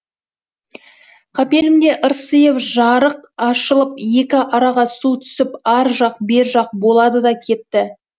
қапелімде ырсиып жарық ашылып екі араға су түсіп ар жақ бер жақ болады да кетті